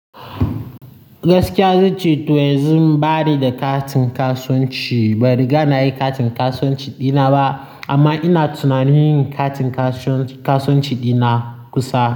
Gaskiya zai ce toh yanzu bani da katin kasuwanci. Ban riga na yi katin kasuwanci dina ba amma ina tunanin yin katin kasuwanci dina kusa.